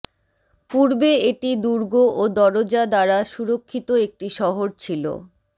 পূর্বে এটি দুর্গ ও দরজা দ্বারা সুরক্ষিত একটি শহর ছিল